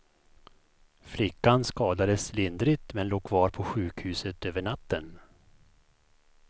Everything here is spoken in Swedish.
Flickan skadades lindrigt, men låg kvar på sjukhuset över natten.